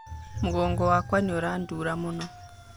Mũgongo wakwa nĩurandura mũno.